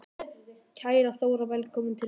Kæra Þóra. Velkomin til Reykjavíkur.